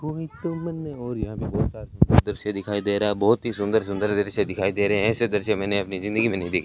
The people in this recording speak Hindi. कोई तो और यहां पे दृश्य दिखाई दे रहा है बहुत ही सुंदर सुंदर दृश्य दिखाई दे रहे हैं ऐसे दृश्य मैंने अपनी जिंदगी में नहीं देखे।